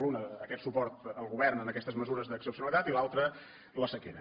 l’una aquest suport al govern en aquestes mesures d’excepcionalitat i l’altra la sequera